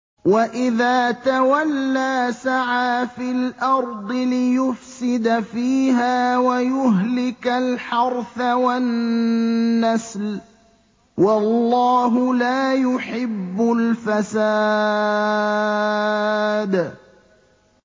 وَإِذَا تَوَلَّىٰ سَعَىٰ فِي الْأَرْضِ لِيُفْسِدَ فِيهَا وَيُهْلِكَ الْحَرْثَ وَالنَّسْلَ ۗ وَاللَّهُ لَا يُحِبُّ الْفَسَادَ